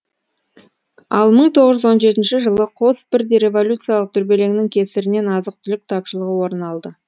ал мың тоғыз жүз он жетінші жылы қос бірдей революциялық дүрбелеңнің кесірінен азық түлік тапшылығы орын алды